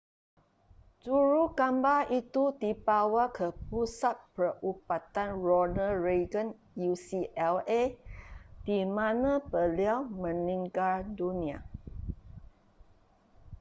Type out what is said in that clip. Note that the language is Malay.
jurugambar itu dibawa ke pusat perubatan ronald reagan ucla di mana beliau meninggal dunia